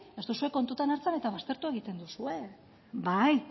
ez duzue kontutan hartzen eta baztertu egiten duzue bai